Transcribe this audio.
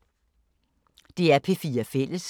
DR P4 Fælles